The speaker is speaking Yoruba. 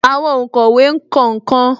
Àwọn onkowe kọ nkan